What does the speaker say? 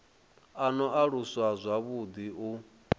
a no aluswa zwavhuḓi u